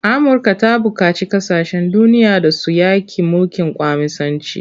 Amurka ta buƙaci kasashen duniya da su yaƙi mulkin kwaminisanci.